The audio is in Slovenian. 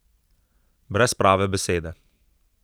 Brez prave besede.